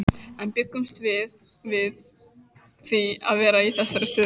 En bjuggumst við við því að vera í þessari stöðu?